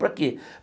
Para quê?